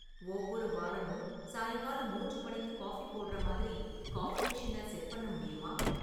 ஒவ்வொரு வாரமும் சாயங்காலம் மூன்று மணிக்கு காஃபி போடுற மாதிரி காஃபி மிஷின செட் பண்ண முடியுமா?